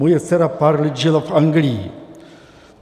Moje dcera pár let žila v Anglii.